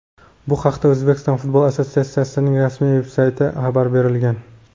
Bu haqda O‘zbekiston futbol assotsiatsiyasining rasmiy veb-saytida xabar berilgan.